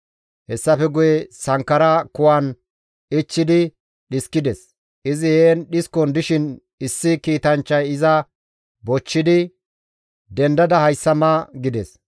Hessafe guye sankkara kuwan ichchidi dhiskides; izi heen dhiskon dishin issi kiitanchchay iza bochchidi, «Dendada hayssa ma» gides.